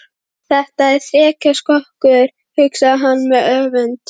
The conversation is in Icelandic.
Þetta er þrekskrokkur, hugsaði hann með öfund.